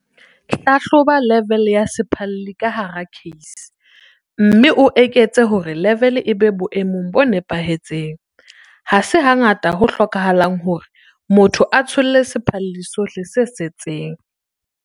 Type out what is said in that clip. Hlahloba level ya sephalli ka hara case, mme o eketse hore level e be boemong bo nepahetseng. Ha se hangata ho hlokahalang hore motho a tsholle sephalli sohle se setseng.